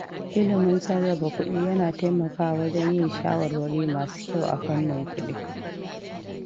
Ilimin sarrafa kuɗi yana taimakawa wajen yin shawarwari masu kyau a fannin kuɗi.